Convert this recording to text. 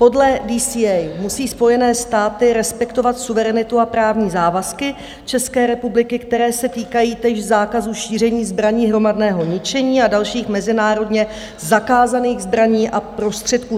Podle DCA musí Spojené státy respektovat suverenitu a právní závazky České republiky, které se týkají též zákazu šíření zbraní hromadného ničení a dalších mezinárodně zakázaných zbraní a prostředků.